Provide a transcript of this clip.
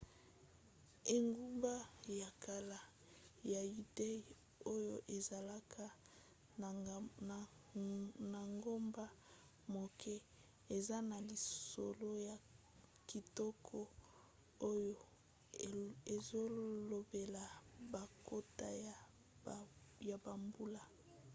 engumba ya kala ya yudea oyo ezalaka na ngomba moke eza na lisolo ya kitoko oyo ezolobela bankoto ya bambula